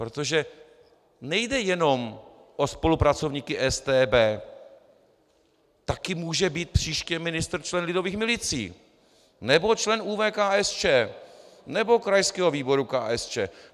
Protože nejde jenom o spolupracovníky StB, taky může být příště ministr člen Lidových milicí nebo člen ÚV KSČ nebo krajského výboru KSČ.